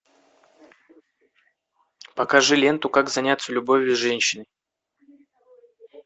покажи ленту как заняться любовью с женщиной